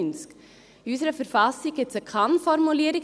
In unserer Verfassung gibt es eine Kann-Formulierung: